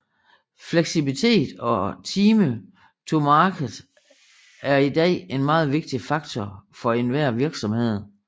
Fleksibilitet og time to market er i dag en meget vigtig faktor for enhver virksomhed